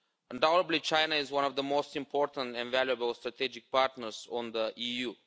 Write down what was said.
Undoubtedly China is one of the most important and valuable strategic partners of the EU.